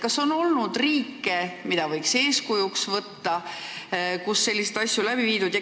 Kas on riike, mida võiks eeskujuks võtta, kus on selliseid asju tehtud?